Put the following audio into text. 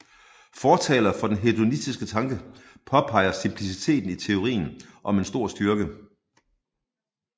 Fortalere for den hedonistiske tanke påpeger simpliciteten i teorien som en stor styrke